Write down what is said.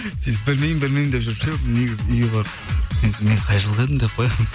сөйтіп білмеймін білмеймін деп жүріп ше негізі үйге барып енді мен қай жылғы едім деп қоямын